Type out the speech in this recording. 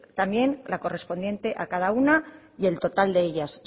también la correspondiente a cada una y el total de ellas